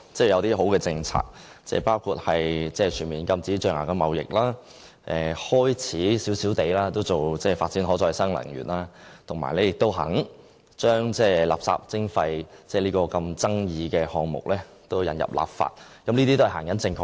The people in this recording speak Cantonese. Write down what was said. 有些好的政策，包括全面禁止象牙貿易、開始發展少許可再生能源，以及願意將垃圾徵費這富爭議性的項目引入立法，這些都是方向正確的。